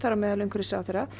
á meðal umhverfisráðherra